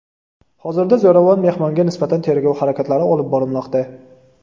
Hozirda zo‘ravon mehmonga nisbatan tergov harakatlari olib borilmoqda.